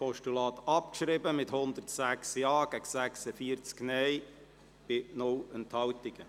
Sie haben das Postulat abgeschrieben, mit 106 Ja- gegen 46 Nein-Stimmen bei 0 Enthaltungen.